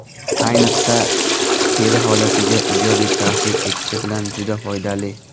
Ayniqsa, teri holatiga ijobiy ta’sir etishi bilan juda foydali.